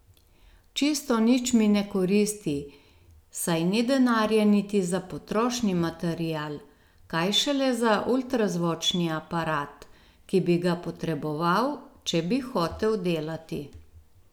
Čisto nič mi ne koristi, saj ni denarja niti za potrošni material, kaj šele za ultrazvočni aparat, ki bi ga potreboval, če bi hotel delati.